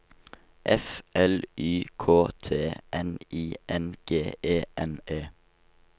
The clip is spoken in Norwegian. F L Y K T N I N G E N E